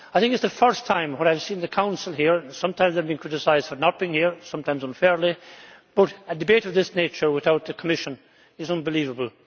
I think it is the first time I have seen the Council here sometimes they have been criticised for not being here, sometimes unfairly but a debate of this nature without the Commission is unbelievable.